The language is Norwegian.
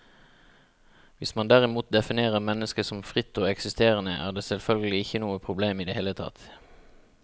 Hvis man derimot definerer mennesket som fritt og eksisterende, er det selvfølgelig ikke noe problem i det hele tatt.